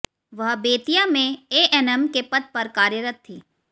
वह बेतिया में एएनएम के पद पर कार्यरत थी